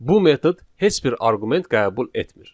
Bu metod heç bir arqument qəbul etmir.